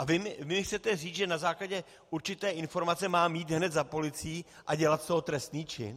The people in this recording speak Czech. A vy mi chcete říct, že na základě určité informace mám jít hned za policií a dělat z toho trestný čin?